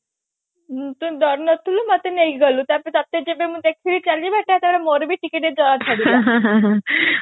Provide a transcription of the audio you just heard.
ମୁଁ ତ ଡରୁ ନଥିଲି ମତେ ନେଇକି ଗଲୁ ତାପରେ ତତେ ଯେବେ ମୁଁ ଦେଖିଲି ଚାଲିବା ଟା ତାପରେ ଟିକେ ଟିକେ ମୋର ଡର ଛାଡିଗଲା